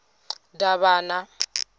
davhana